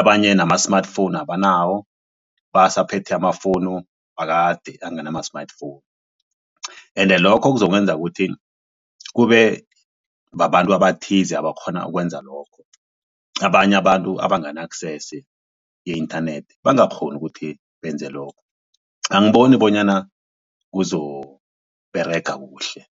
Abanye nama-smartphone abanawo basaphethe ama-phone wakade anganama-smartphone ende lokho kuzokwenza ukuthi kube babantu abathize abakghona ukwenza lokho abanye abantu abangana-access ye-internet bangakghoni ukuthi benze lokho angiboni bonyana kuzoberega kuhle.